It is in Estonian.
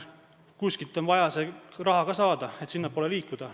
Kuskilt on vaja see raha ka saada, et sinnapoole liikuda.